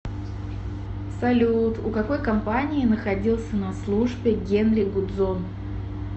салют у какой компании находился на службе генри гудзон